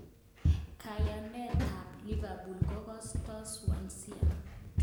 Kayanet tab Liverpool kokosto Swansea.